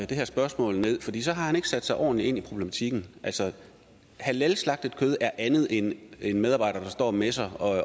det her spørgsmål ned fordi så har han ikke sat sig ordentligt ind i problematikken halalslagtet kød er andet end en medarbejder der står og messer